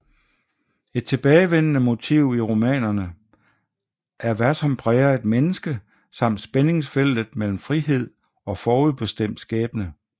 Et tilbagevendende motiv i romanerne er hvad som præger et menneske samt spændingsfeltet mellem frihed og forudbestemt skæbne